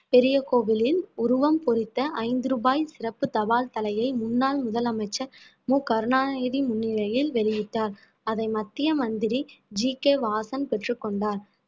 பெரிய கோவிலின் உருவம் பொறித்த ஐந்து ரூபாய் சிறப்பு தபால் தலையை முன்னாள் முதலமைச்சர் மு கருணாநிதி முன்னிலையில் வெளியிட்டார் அதை மத்திய மந்திரி ஜி கே வாசன் பெற்றுக்கொண்டார்